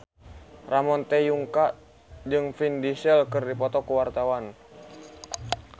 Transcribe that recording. Ramon T. Yungka jeung Vin Diesel keur dipoto ku wartawan